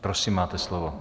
Prosím, máte slovo.